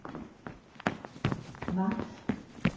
maks